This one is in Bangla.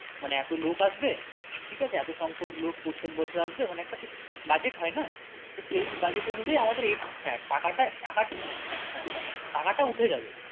মানে এতো লোক আসবে এতো সংখ্যক লোক প্রত্যেকবছর আসবে মানে একটা তো budget হয় না তো সেই budget অনুযায়ী আমাদের এই হ্যাঁ টাকাটা হ্যাঁ উঠে যাবে